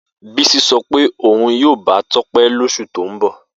Bisi so pe oun yoo ba Tope losu to n bo.